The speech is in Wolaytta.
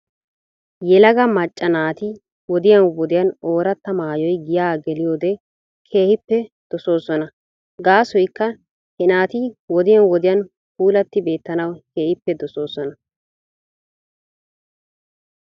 Yelaga macca naati wodiyan wodiyan ooratta maayoy giyaa geliyoode keehippe dosoona . Gaasoykka he naati wodiyan wodihan puulatti beettanawu keehippe dosoosona